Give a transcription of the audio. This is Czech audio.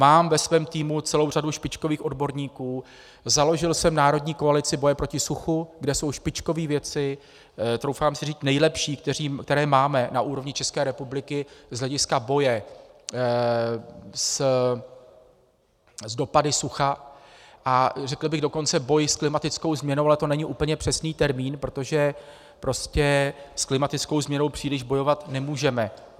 Mám ve svém týmu celou řadu špičkových odborníků, založil jsem národní koalici boje proti suchu, kde jsou špičkoví vědci, troufám si říct nejlepší, které máme na úrovni České republiky z hlediska boje s dopady sucha, a řekl bych dokonce, boj s klimatickou změnou, ale to není úplně přesný termín, protože prostě s klimatickou změnou příliš bojovat nemůžeme.